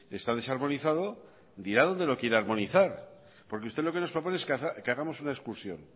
está desarmonizado dirá dónde lo quiere armonizar porque usted lo que nos propone es que hagamos una excursión